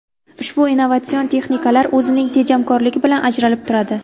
Ushbu innovatsion texnikalar o‘zining tejamkorligi bilan ajralib turadi.